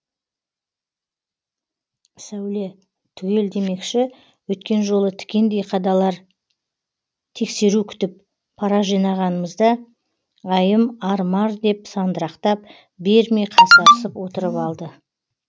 сәуле түгел демекші өткен жолы тікендей қадалар тексеру күтіп пара жинағанымызда айым ар мар деп сандырақтап бермей қасарысып отырып алды